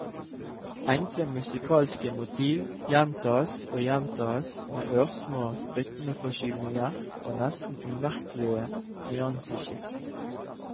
Enkle musikalske motiv gjentas og gjentas med ørsmå rytmeforskyvninger og nesten umerkelige nyanseskift.